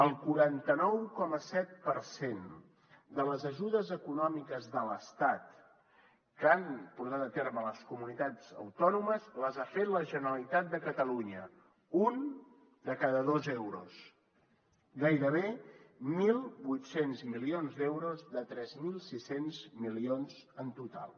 el quaranta nou coma set per cent de les ajudes econòmiques de l’estat que han portat a terme les comunitats autònomes l’ha fet la generalitat de catalunya un de cada dos euros gairebé mil vuit cents milions d’euros de tres mil sis cents milions en total